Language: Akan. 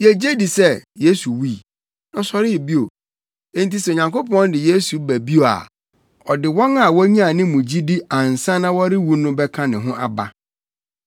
Yegye di sɛ Yesu wui, na ɔsɔree bio. Enti sɛ Onyankopɔn de Yesu ba bio a, ɔde wɔn a wonyaa ne mu gyidi ansa na wɔrewu no bɛka ne ho aba.